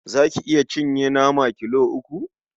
Za ki iya cinye nama kilo uku?